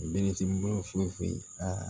Denmisɛnnin foyi foyi aa